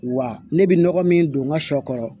Wa ne bɛ nɔgɔ min don n ka sɔ kɔrɔ